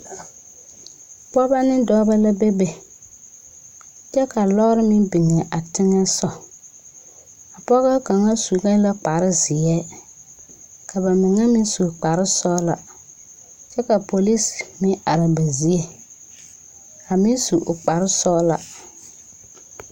Pɔgeba ne dɔba la bebe kyɛ ka lɔɔre meŋ biŋ a teŋɛso a pɔge kaŋ su la kparezeɛ ka ba mine meŋ su kparesɔglɔ kyɛ ka polisi meŋ are a ba zie a meŋ su o kparesɔglaa.